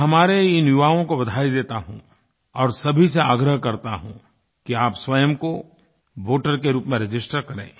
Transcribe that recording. मैं हमारे इन युवाओं को बधाई देता हूँ और सभी से आग्रह करता हूँ कि आप स्वयं को वोटर के रूप में रजिस्टर करें